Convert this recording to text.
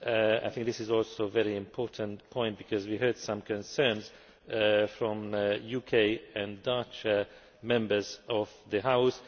I think this is also a very important point, because we heard some concerns from UK and Dutch Members of the House.